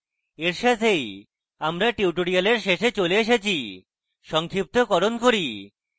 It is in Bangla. এই সাথেই আমরা tutorial শেষে চলে এসেছি সংক্ষিপ্তকরণ করি